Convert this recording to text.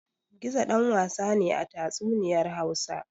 Gizo ɗan wasa ne a tatsuniyar Hausa.